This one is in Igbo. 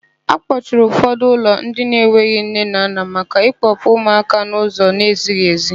Akpọchiri ụfọdụ ụlọ ndị enweghị nne na nna maka ịkpọpụ ụmụaka n'ụzọ n'ezighị èzí.